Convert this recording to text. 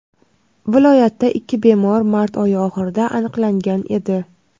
Viloyatda ikki bemor mart oyi oxirida aniqlangan edi.